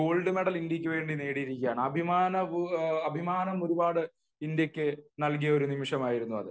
Gold medal ഇന്ത്യക്ക് വേണ്ടി നേടിയിരിക്കയാണ് . അഭിമാനം ഒരുപാട് ഇന്ത്യക്ക് നൽകിയ നിമിഷമായിരുന്നു അത്